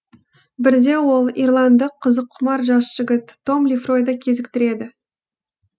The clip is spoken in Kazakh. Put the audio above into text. бірде ол ирландық қызыққұмар жас жігіт том лефройды кезіктіреді